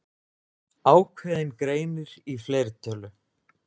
Ákveðinn greinir í fleirtölu.